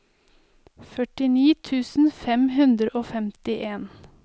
førtini tusen fem hundre og femtien